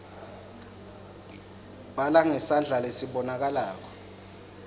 bhala ngesandla lesibonakalako